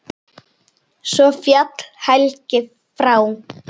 Svo féll Helgi frá.